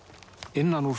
innan úr